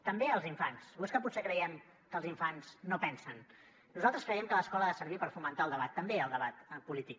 també els infants o és que potser creiem que els infants no pensen nosaltres creiem que l’escola ha de servir per fomentar el debat també el debat polític